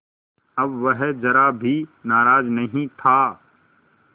अब वह ज़रा भी नाराज़ नहीं था